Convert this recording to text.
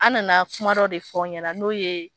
An nana kuma dɔ de fɔ a ɲɛna n'o ye